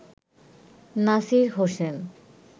Nasir Hossain